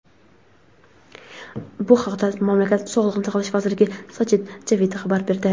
Bu haqda mamlakat Sog‘liqni saqlash vaziri Sajid Javid xabar berdi.